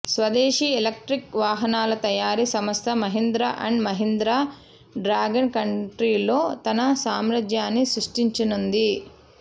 స్వదేశీ ఎలక్ట్రిక్ వాహనాల తయారీ సంస్థ మహీంద్రా అండ్ మహీంద్రా డ్రాగన్ కంట్రీలో తన సామ్రాజ్యాన్ని సృష్టించనుంది